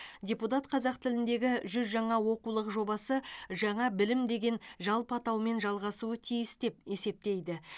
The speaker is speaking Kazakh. депутат қазақ тіліндегі жүз жаңа оқулық жобасы жаңа білім деген жалпы атаумен жалғасуы тиіс деп есептейді